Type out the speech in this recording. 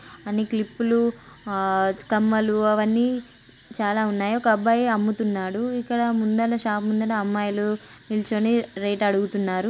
అన్ని క్లిప్లు లు ఆ కమ్మలు అవి అన్ని చాలా ఉన్నాయి. ఒక అబ్బాయి అమ్ముతున్నాడు ఇక్కడ ముందట షాప్ ముందట అమ్మైలు నిల్చొని రేట్ అడుగుతున్నారు.